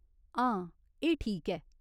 हां, एह् ठीक ऐ !